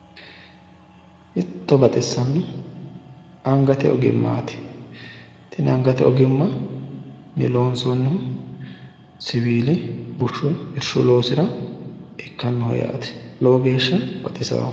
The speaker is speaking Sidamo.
Hiitto baxisano angate ogimmati tene loonsonihu bushu loosirati lowo geeshsha baxisanoho